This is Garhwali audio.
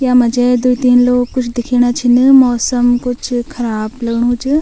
यामा जे द्वि-तीन लोग कुछ दिखेणा छिन मौसम कुछ ख़राब लगणु च।